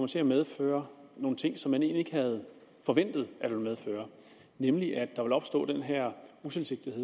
til medføre nogle ting som man egentlig ikke havde forventet nemlig at der opstod den her utilsigtede